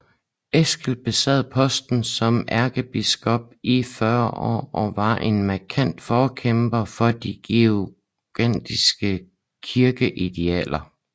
Eskil besad posten som ærkebiskop i 40 år og var en markant forkæmper for de gregorianske kirkeidealer